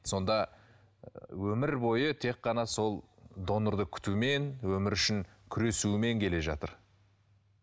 сонда өмір бойы тек қана сол донорды күтумен өмір үшін күресумен келе жатыр